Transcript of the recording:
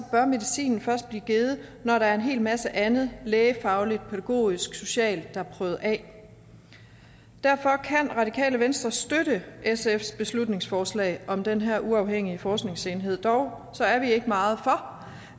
bør medicin først blive givet når der er en hel masse andet lægefagligt pædagogisk socialt der er prøvet af derfor kan radikale venstre støtte sfs beslutningsforslag om den her uafhængige forskningsenhed dog er vi ikke meget for